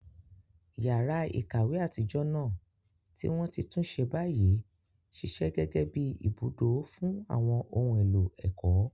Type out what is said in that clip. Yàrá ìkàwé àtijọ́ náà, tí wọ́n ti tún ṣe báyìí, ṣiṣẹ́ gẹ́gẹ́ bí ibùdó fún àwọn ohun èlò ẹ̀kọ́.